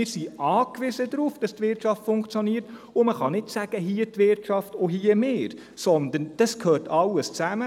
Wir sind darauf an- gewiesen, dass die Wirtschaft funktioniert, und man kann nicht sagen, hier die Wirtschaft und hier wir, sondern das gehört alles zusammen.